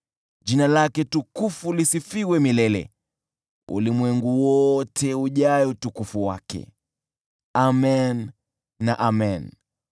Jina lake tukufu lisifiwe milele, ulimwengu wote ujae utukufu wake. Amen na Amen.